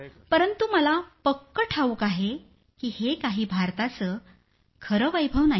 परंतु मला पक्कं ठाऊक आहे की हे काही भारताचं खरं वैभव नाही